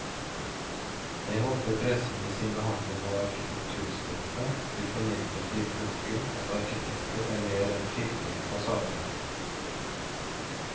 Jeg håper pressen i sin behandling av arkitekturstoffet vil formidle til publikum at arkitekter er mer enn fiffige fasademakere.